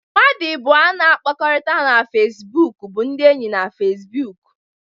Mmadụ abụọ na-akpakọrịta na Fesibuuku bụ ndị enyi na Fesibuuku.